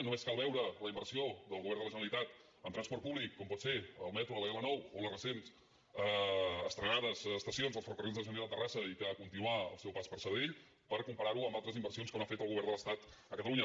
només cal veure la inversió del govern de la generalitat en transport públic com pot ser el metro a la l9 o les recents estrenades estacions dels ferrocarrils de la generalitat a terrassa i que ha de continuar al seu pas per sabadell per comparar ho amb altres inversions que no ha fet el govern de l’estat a catalunya